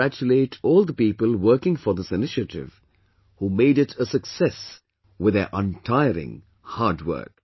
I congratulate all the people working for this initiative, who made it a success with their untiring hard work